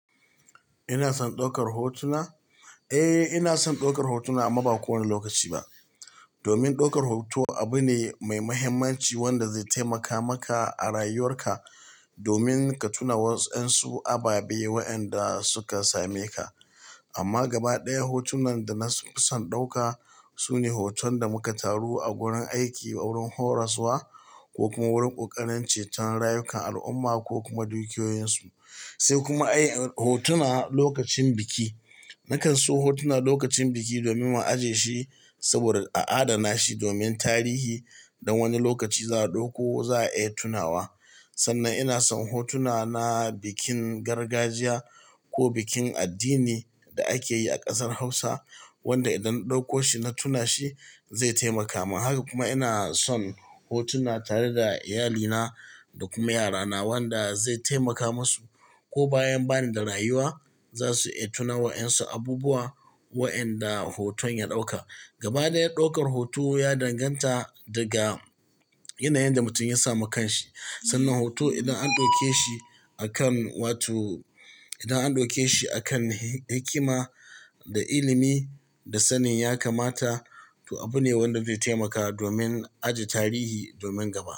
Ina son ɗaukar hotuna? Eh, ina son ɗaukar hotuna amma ba kowane lokaci ba. Domin ɗaukar hoto abu ne mai muhimmanci wanda zai taimaka maka a rayuwar ka domin ka tuna waɗansu ababe wa enda suka same ka. Amma gaba ɗaya hotunan da na fi son ɗauka sune hoton da muka taru a wurin aiki wurin horaswa ko kuma wurin ƙoƙarin ceton rayukan al'umma ko kuma dukiyoyin su. Sai kuma ayi hotuna lokacin biki. Nakan so hotuna lokacin biki domin mu aje shi saboda a adana shi domin tarihi dan wani lokaci za a ɗauko za a iya tunawa. Sannan ina son hotuna na bikin gargajiya ko bikin addini da ake yi a ƙasar Hausa wanda idan ɗauko shi na tuna shi zai taimaka min. Haka kuma ina son hotuna tare da iyalina da kuma yarana wanda zai taimaka musu ko bayan bani da rayuwa za su iya tuna waɗansu abubuwa wa'enda hoton ya ɗauka. Gaba ɗaya ɗaukar hoto ya danganta daga yanayin da mutum ya samu kan shi. Sannan hoto idan an ɗauke shi akan, wato idan an ɗauke shi akan hikima da ilimi da sanin ya kamata, to abu ne wanda zai taimaka domin aje tarihi domin gaba.